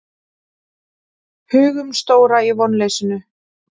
Hugumstóra í vonleysinu.